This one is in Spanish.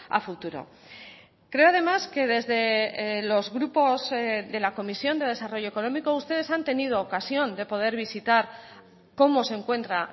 a futuro creo además que desde los grupos de la comisión de desarrollo económico ustedes han tenido ocasión de poder visitar cómo se encuentra